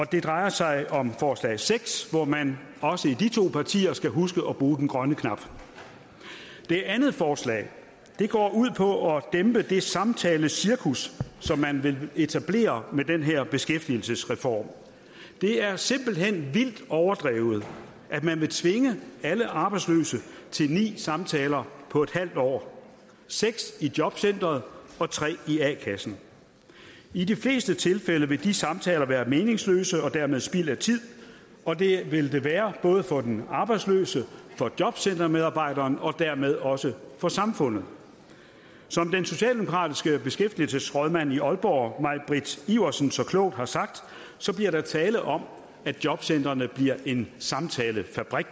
det drejer sig om forslag seks hvor man også i de to partier skal huske at bruge den grønne knap det andet forslag går ud på at dæmpe det samtalecirkus som man vil etablere med den her beskæftigelsesreform det er simpelt hen vildt overdrevet at man vil tvinge alle arbejdsløse til ni samtaler på en halv år seks i jobcenteret og tre i a kassen i de fleste tilfælde vil de samtaler være meningsløse og dermed spild af tid og det vil det være både for den arbejdsløse for jobcentermedarbejderen og dermed også for samfundet som den socialdemokratiske beskæftigelsesrådmand i aalborg mai britt iversen så klogt har sagt bliver der tale om at jobcentrene bliver en samtalefabrik